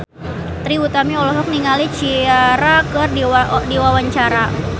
Trie Utami olohok ningali Ciara keur diwawancara